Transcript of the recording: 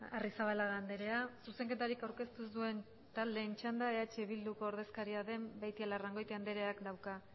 arrizabalaga andrea zuzenketarik aurkeztu ez duen taldeen txanda eh bilduko ordezkaria den beitialarrangoitia andreak dauka